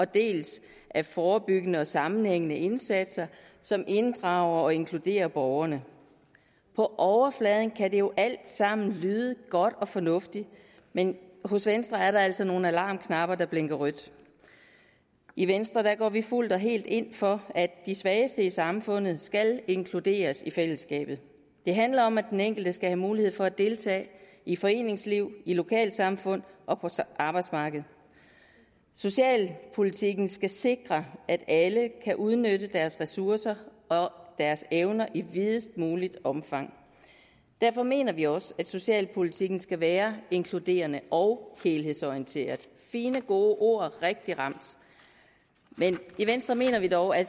dels af forebyggende og sammenhængende indsatser som inddrager og inkluderer borgerne på overfladen kan det jo alt sammen lyde godt og fornuftigt men hos venstre er der altså nogle alarmknapper der blinker rødt i venstre går vi fuldt og helt ind for at de svageste i samfundet skal inkluderes i fællesskabet det handler om at den enkelte skal have mulighed for at deltage i foreningsliv i lokalsamfund og på arbejdsmarkedet socialpolitikken skal sikre at alle kan udnytte deres ressourcer deres evner i videst muligt omfang derfor mener vi også at socialpolitikken skal være inkluderende og helhedsorienteret fine gode ord rigtigt ramt men i venstre mener vi dog at